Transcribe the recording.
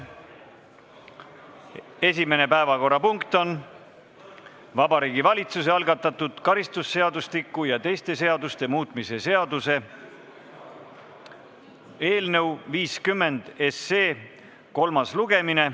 Esimene päevakorrapunkt on Vabariigi Valitsuse algatatud karistusseadustiku ja teiste seaduste muutmise seaduse eelnõu 50 kolmas lugemine.